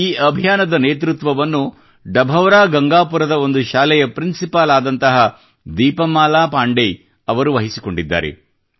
ಈ ಅಭಿಯಾನದ ನೇತೃತ್ವವನ್ನು ಡಭೌರಾ ಗಂಗಾಪುರದ ಒಂದು ಶಾಲೆಯ ಪ್ರಿನ್ಸಿಪಾಲ್ ಆದಂತಹ ದೀಪಮಾಲಾ ಪಾಂಡೇಯ್ ಅವರು ವಹಿಸಿಕೊಂಡಿದ್ದಾರೆ